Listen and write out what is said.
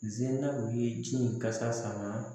Zenaw ye ji in kasa sama